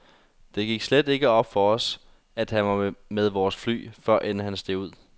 Det gik slet ikke op for os, at han var med vores fly, før end han steg ud.